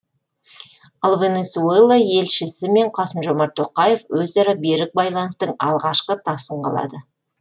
ал венесуэла елшісімен қасым жомарт тоқаев өзара берік байланыстың алғашқы тасын қалады